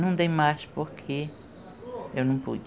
Não dei mais porque eu não pude.